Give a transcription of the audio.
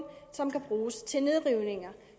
som kan bruges til nedrivninger